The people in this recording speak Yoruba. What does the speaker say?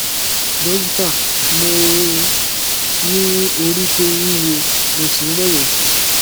dókítà mo ní orí tó wúwo mo sì ń rẹwẹsì